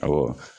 Awɔ